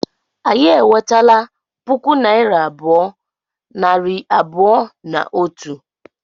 Anyị enwetela puku naịra abụọ, nari abụọ na otu